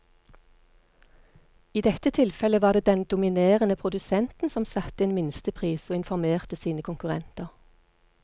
I dette tilfellet var det den dominerende produsenten som satte en minstepris og informerte sine konkurrenter.